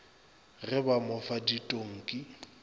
ge ba mo fa ditonki